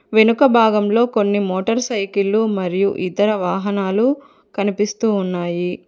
వెనుక భాగంలో కొన్ని మోటార్ సైకిళ్ళు మరియు ఇతర వాహనాలు కనిపిస్తూ ఉన్నాయి.